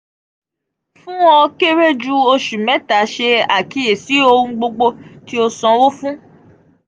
fun o kere ju oṣu mẹta ṣe akiyesi ohun gbogbo ti o sanwo fun.